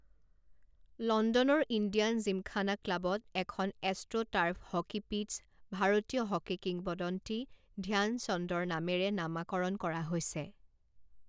লণ্ডনৰ ইণ্ডিয়ান জিমখানা ক্লাবত এখন এষ্ট্ৰোটাৰ্ফ হকী পিটছ ভাৰতীয় হকী কিংবদন্তী ধ্যান চন্দৰ নামেৰে নামাকৰণ কৰা হৈছে।